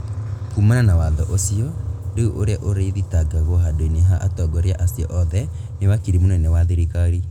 Kumana na watho ũcio, rĩu ũrĩa ũrĩthitangagwo handu-inĩ ha atongoria acio othe nĩ wakiri mũnene wa thirikari